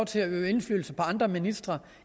til at øve indflydelse på andre ministre